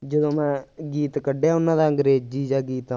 ਜਦੋਂ ਮੈ ਗੀਤ ਕੱਢਿਆ, ਉਹਨਾਂ ਦਾ ਅੰਗਰੇਜ਼ੀ ਜਿਹਾ ਗੀਤ